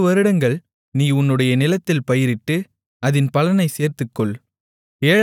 ஆறுவருடங்கள் நீ உன்னுடைய நிலத்தில் பயிரிட்டு அதின் பலனைச் சேர்த்துக்கொள்